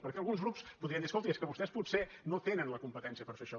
perquè alguns grups podrien dir escolti és que vostès potser no tenen la competència per fer això